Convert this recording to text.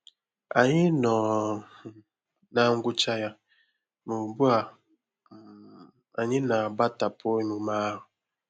Ànyị nọ um ná ngwụcha ya, ma ugbu a, um anyị na-agbatapụ emume ahụ.